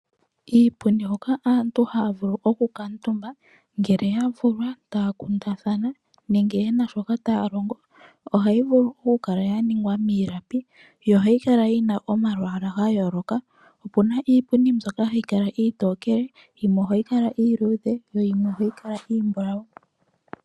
Iipundi hoka aantu haya vulu okukuutumba, ngele yavulwa, taya kundathana nenge yena shoka taya longo, ohayi vulu okukala yaningwa miilapi yo ohayi kala yina omalwaala gayooloka. Opuna iipundi mbyoka hayi kala iitokele, yimwe ohayi kala iiludhe yo yimwe ohayi kala iimbulawu.